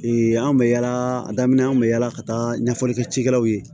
anw bɛ yaala a daminɛ an bɛ yaala ka taa ɲɛfɔli kɛ cikɛlaw ye